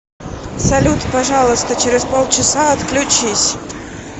салют пожалуйста через полчаса отключись